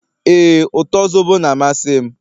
ee, uto zobo na-amasị m